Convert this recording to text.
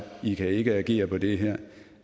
i kan ikke agere på det her